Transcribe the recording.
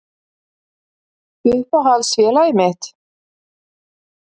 Uppáhalds félagið mitt?